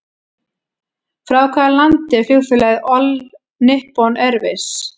Frá hvaða landi er flugfélagið All Nippon Airways?